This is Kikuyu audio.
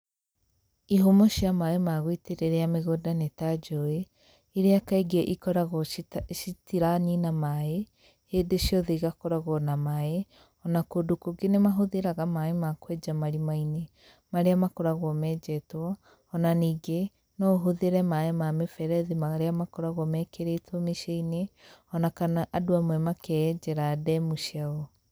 Ihumo cia maĩ magũitĩrĩria mĩgũnda nĩ ta njũĩ ,riia kaingĩ ikoragwo ĩtaranina maĩ hĩndĩ ciothe igakoragwo na maĩ ona kũndũ kũnge nĩ mahũthagĩra maĩ ma kwenja marĩma maria makoragwo menjetwo, ona ningĩ no ũhũthĩre maĩ ma mĩberethi maria makoragwo mekĩrĩtwo mĩciĩ-inĩ ona kana andũ amwe makeenjira ndemu ciao.